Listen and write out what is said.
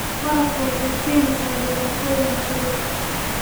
Waraabka wuxuu keeni karaa dhibaatooyin cudur.